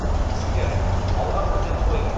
іскер алға міндет қойып